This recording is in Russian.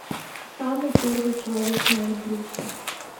самый первый человек на эльбрусе